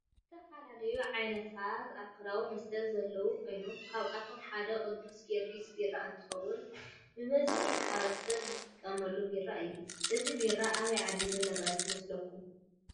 ዝተፈላለዩ ዓይነታት አልኮላዊ መስተ ዘለዎ ኮይኖም ካብአቶም ሓደ ቅዱስ ጊርግስ ቢራ እንትውን ብዝሕ ማሕበረሰብ ዝጥቀሞ ቢራ እዩ። እዚ ቢራ አበይ ዓዲ ዝምረት ይመስለኩም?